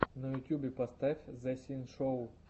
на ютюбе поставь зэ синшоу